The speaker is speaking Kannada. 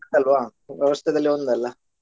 ಅಲ್ವಾ ಒಂದಲ್ಲ?